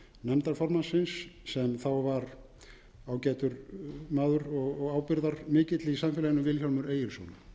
nefndarformannsins sem þá var ágætur maður og ábyrgðarmikill í samfélaginu vilhjálmur egilsson